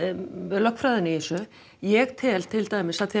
lögfræðina í þessu ég tel til dæmis af því